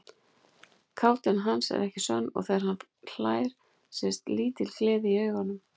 Kátína hans er ekki sönn og þegar hann hlær sést lítil gleði í augunum.